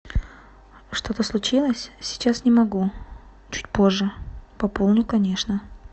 что то случилось сейчас не могу чуть позже пополню конечно